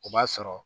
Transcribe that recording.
O b'a sɔrɔ